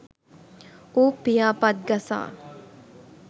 ඌ පියාපත් ගසා